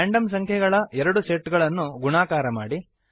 random ಸಂಖ್ಯೆಗಳ ಎರಡು set ಅನ್ನು ಗುಣಾಕಾರ ಮಾಡಿ